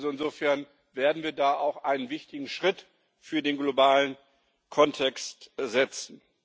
Insofern werden wir da auch einen wichtigen Schritt im globalen Kontext setzen.